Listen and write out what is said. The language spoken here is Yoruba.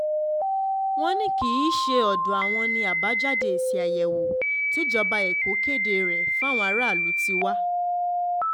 wọ́n ní kì um í ṣe ọ̀dọ̀ àwọn ni àbájáde èsì àyẹ̀wò tíjọba èkó kéde rẹ̀ fáwọn aráàlú um ti wá